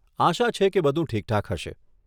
આશા છે કે બધું ઠીકઠાક છે.